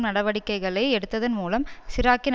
நடவடிக்கைகளை எடுத்ததன் மூலம் சிராக்கின்